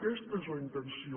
aquesta és la intenció